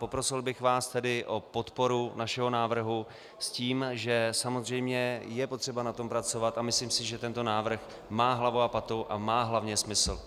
Poprosil bych vás tedy o podporu našeho návrhu s tím, že samozřejmě je potřeba na tom pracovat, a myslím si, že tento návrh má hlavu a patu a má hlavně smysl.